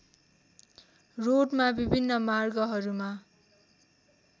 रोडमा विभिन्न मार्गहरूमा